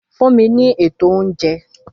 Fún mi ní ètò oúnjẹ!